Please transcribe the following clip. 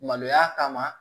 Maloya kama